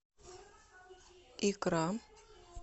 икра